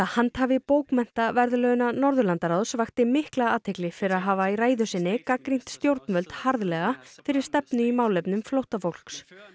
handhafi bókmenntaverðlauna Norðurlandaráðs vakti mikla athygli fyrir að hafa í ræðu sinni gagnrýnt stjórnvöld harðlega fyrir stefnu í málefnum flóttafólks